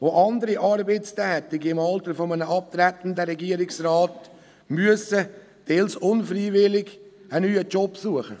Auch andere Arbeitstätige im Alter eines abtretenden Regierungsrats müssen, teils unfreiwillig, einen neuen Job suchen.